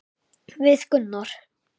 Við Gunnar?